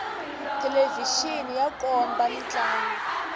thelevixini ya komba mintlangu